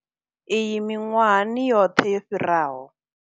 Iyi miṅwahani yoṱhe yo fhiraho.